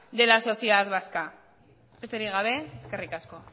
de la sociedad vasca besterik gabe eskerrik asko